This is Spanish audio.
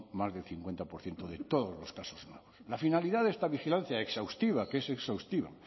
más del cincuenta por ciento de todos los casos nuevos la finalidad de esta vigilancia exhaustiva que es exhaustiva